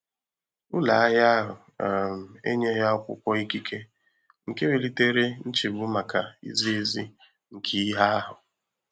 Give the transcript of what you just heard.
Ụlọ ahịa ahụ um enyeghị akwụkwọ ikike, nke welitere nchegbu maka izi ezi nke ihe ahụ.